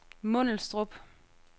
Mundelstrup